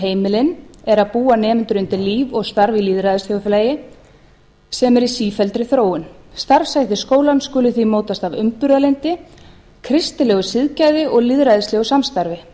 heimilin er að búa nemendur undir líf og starf í lýðræðisþjóðfélagi sem er í sífelldri þróun starfshættir skólans skulu því mótast af umburðarlyndi kristilegu siðgæði og lýðræðislegu samstarfi